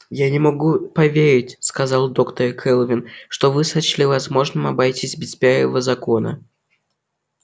я не могу поверить сказала доктор кэлвин что вы сочли возможным обойтись без первого закона